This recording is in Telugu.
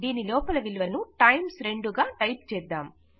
దీని లోపల విలువను టైమ్స్ 2 గా టైప్ చేద్దాం